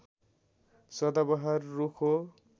सदाबहार रुख हो